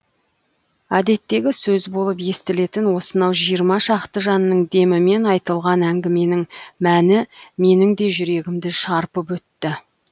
әдеттегі сөз болып естілетін осынау жиырма шақты жанның демімен айтылған әңгіменің мәні менің де жүрегімді шарпып өтті